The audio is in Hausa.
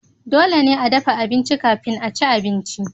dole ne a dafa abinci kafin a ci abinci